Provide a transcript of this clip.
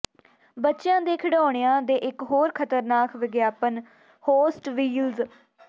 ਬੱਚਿਆਂ ਦੇ ਖਿਡੌਣਿਆਂ ਦੇ ਇੱਕ ਹੋਰ ਖਤਰਨਾਕ ਵਿਗਿਆਪਨ ਹੋਸਟ ਵੀਲਜ਼